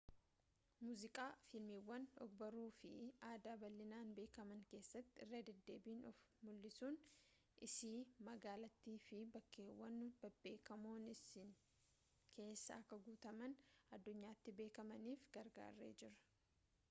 muuziqaa fiilmiiwwan og-barruu fi aadaa bal'inaan beekaman keessatti irra-deddeebiin of mul'isuun isii magaalattiinii fi bakkeewwan bebbeekamoon isii keessaa akka guutummaa addunyaatti beekamaniif gargaaree jira